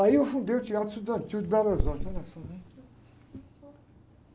Aí eu fundei o Teatro Estudantil de Belo Horizonte, olha só, né?